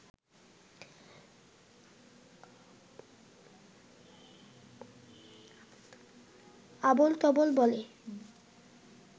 আবোলতাবোল বলে